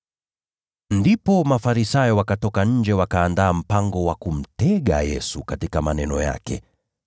Ndipo Mafarisayo wakatoka nje wakaandaa mpango wa kumtega Yesu katika maneno yake.